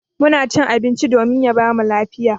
Muna cin abinci domin ya bamu lafiya.